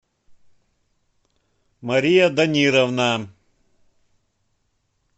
мария данировна